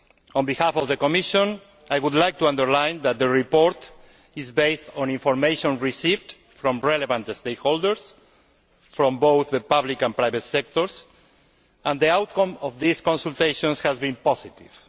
On behalf of the Commission, I would like to underline that the report is based on information received from relevant stakeholders, from both the public and private sectors, and the outcome of these consultations has been positive.